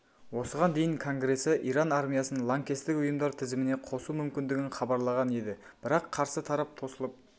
осыған дейін конгресі иран армиясын лаңкестік ұйымдар тізіміне қосу мүмкіндігін хабарлаған еді бірақ қарсы тарап тосылып